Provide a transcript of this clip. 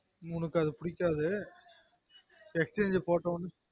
உனக்கு அது புடிக்காது exhange போட்டொனா